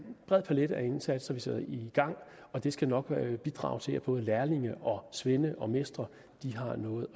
bred palet af indsatser vi sætter i gang og det skal nok bidrage til at både lærlinge svende og mestre har noget